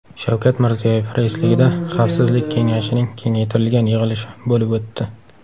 Shavkat Mirziyoyev raisligida Xavfsizlik kengashining kengaytirilgan yig‘ilishi bo‘lib o‘tdi.